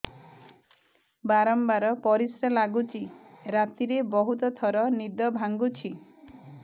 ବାରମ୍ବାର ପରିଶ୍ରା ଲାଗୁଚି ରାତିରେ ବହୁତ ଥର ନିଦ ଭାଙ୍ଗୁଛି